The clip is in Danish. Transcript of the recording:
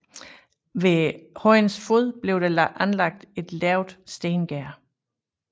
Ved højens fod blev der anlagt et lavt stengærde